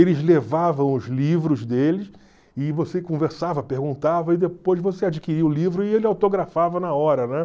Eles levavam os livros deles e você conversava, perguntava e depois você adquiria o livro e ele autografava na hora, né?